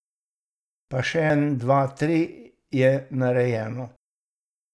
Pa še en dva tri je narejeno.